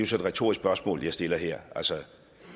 så et retorisk spørgsmål jeg stiller her